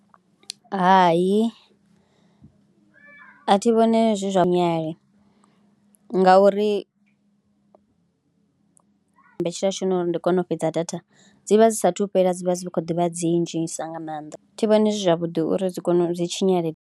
Hai a thi vhone zwo fanela ngauri mbetshelwa tshifhinga uri ndi kone u fhedza data, dzi vha dzi saathu fhela, dzi vha dzi khou ḓi vha dzi ndzhisa nga maanḓa, thi vhoni zwavhuḓi uri dzi kone, dzi tshinyale.